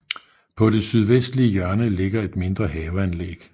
På det sydvestlige hjørne ligger et mindre haveanlæg